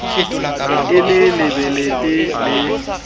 ne e le lebelete le